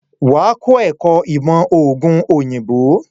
Wà á kọ́ ẹ̀kọ́ ìmọ̀ òògùn òyìnbó.